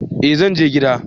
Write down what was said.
eh zanje gida